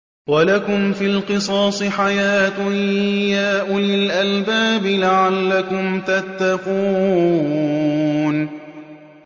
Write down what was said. وَلَكُمْ فِي الْقِصَاصِ حَيَاةٌ يَا أُولِي الْأَلْبَابِ لَعَلَّكُمْ تَتَّقُونَ